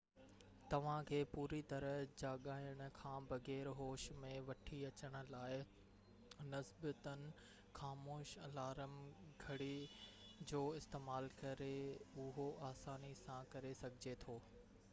توهان کي پوري طرح جاڳائڻ کان بغير هوش ۾ وٺي اچڻ لاءِ نسبتاً خاموش الارم گهڙي جو استعمال ڪري اهو آساني سان ڪري سگهجي ٿو